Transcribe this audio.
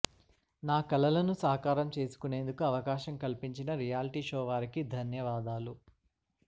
నా కలలను సాకారం చేసుకునేందుకు అవకాశం కల్పించిన రియాల్టీ షో వారికి ధన్యవాదాలు